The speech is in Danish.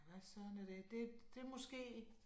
Hvad Søren er det? Det måske